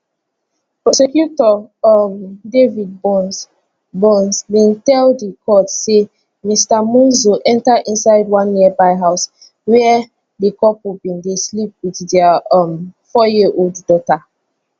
prosecutor um david burns burns bin tell di court say mr monzo enta inside one nearby house wia di couple bin dey sleep wit dia um fouryearold daughter